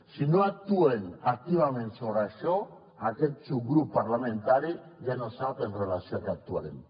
si no actuem activament sobre això aquest subgrup parlamentari ja no sap amb relació a què actuarem